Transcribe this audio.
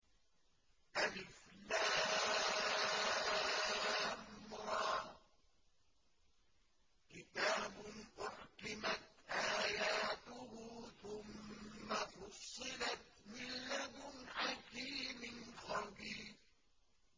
الر ۚ كِتَابٌ أُحْكِمَتْ آيَاتُهُ ثُمَّ فُصِّلَتْ مِن لَّدُنْ حَكِيمٍ خَبِيرٍ